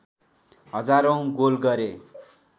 हजारौँ गोल गरे